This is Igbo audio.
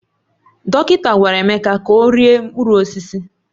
Dọkịta gwara Emeka ka ọ rie mkpụrụ osisi